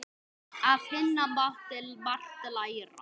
Af Hinna mátti margt læra.